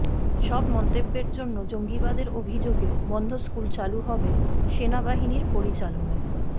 সব মন্তব্যের জন্য জঙ্গিবাদের অভিযোগে বন্ধ স্কুল চালু হবে সেনাবাহিনীর পরিচালনায়